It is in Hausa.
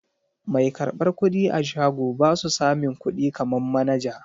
Mai karɓar kuɗi a shago basu samin kuɗi kaman manaja.